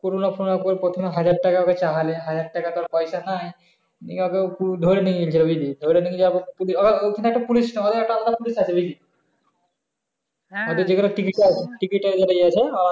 কোনো না কোনো রকমে প্রথমে হাজার টাকা হাজার টাকা তো আর পয়সা নাই ধরে নিয়ে গাছিল বুঝলি ধরে নিয়ে যাওয়ার পর প্রথমে একটা পুলিশ আবার একটা আলাদা পুলিশ আছে বুঝলি ওদের যেকোন ticket